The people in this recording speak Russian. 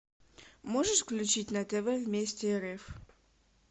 можешь включить на тв вместе рф